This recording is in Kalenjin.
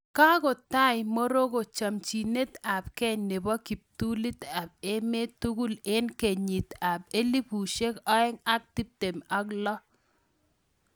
Kakotai moroko chopchinet ap gei nepoo kiptulit AP emet tugul eng kenyit ap elfusiek oeng ak tiptem ak loo